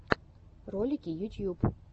ролики ютьюб